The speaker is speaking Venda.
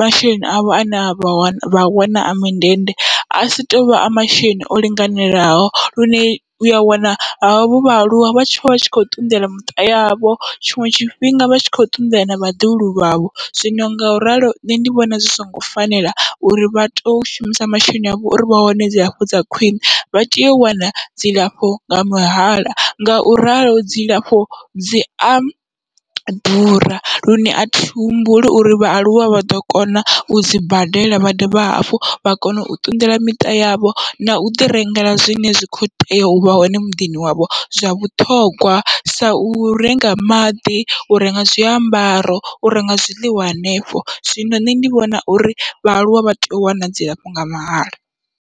masheleni avho ane avha wa vha wana a mindende asi tovha a masheleni o linganelaho, lune uya wana havho vhaaluwa vha tshi vha tshi kho ṱunḓela miṱa yavho tshiṅwe tshifhinga vha tshi kho ṱunḓela na vhaḓuhulu vhavho. Zwino ngauralo nṋe ndi vhona zwi songo fanela, uri vha to shumisa masheleni avho uri vha wane dzilafho dza khwiṋe vha teyo u wana dzilafho nga mahala, ngauralo dzilafho dzia ḓura lune athi humbuli uri vhaaluwa vha ḓo kona u dzi badela vha dovha hafhu vha kone u ṱunḓela miṱa yavho, nau ḓi rengela zwine zwa kho tea uvha hone muḓini wavho zwa vhuṱhongwa sau renga maḓi, u renga zwiambaro, u renga zwiḽiwa hanefho, zwino nṋe ndi vhona uri vhaaluwa vha tea u wana dzilafho nga mahala.